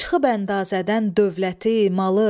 Çıxıb əndazədən dövləti, malı.